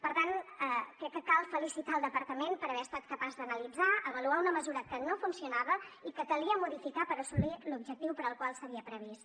per tant crec que cal felicitar el departament per haver estat capaç d’analitzar avaluar una mesura que no funcionava i que calia modificar per assolir l’objectiu per al qual s’havia previst